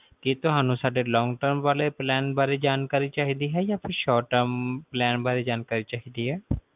ਕਿ ਤੁਹਾਨੂੰ ਸਾਰੇ long-term ਵਾਲੇ plan ਜਾਣਕਾਰੀ ਚਾਹੀਦੀ ਹੈ ਆ ਫੇਰ short-term ਬਾਰੇ ਜਾਣਕਾਰੀ ਚਾਹੀਦੀ ਹੈ